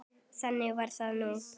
Þannig var það nú.